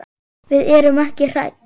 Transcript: Við erum ekki hrædd.